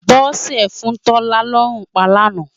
Bose fún Tola lòrún pá láná